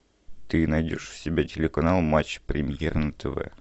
ты найдешь у себя телеканал матч премьер на тв